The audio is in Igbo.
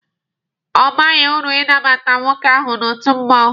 Ọ baghị uru inabata nwoke ahụ n'otu mmụọnwụ.